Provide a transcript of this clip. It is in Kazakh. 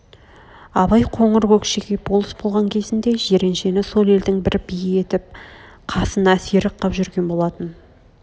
абай қоңыр көкшеге болыс болған кезінде жиреншені сол елдің бір би етіп қасына серік қып жүрген болатын